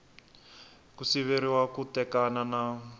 ku siveriwa ku tekana na